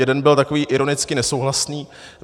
Jeden byl takový ironicky nesouhlasný.